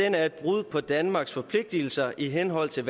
er et brud på danmarks forpligtelser i henhold til